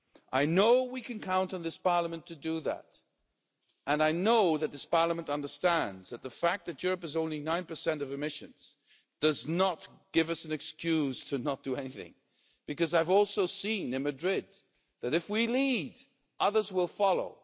I know we can count on this Parliament to do that, and I know that this Parliament understands that the fact that Europe has only 9 of emissions does not give us an excuse to not do anything, because I've also seen in Madrid that if we lead, others will follow.